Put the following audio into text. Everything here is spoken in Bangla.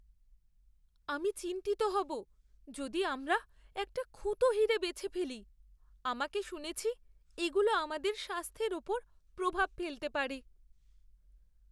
আমি চিন্তিত হব যদি আমরা একটা খুঁতো হীরে বেছে ফেলি। আমাকে শুনেছি এগুলো আমাদের স্বাস্থ্যের উপর প্রভাব ফেলতে পারে।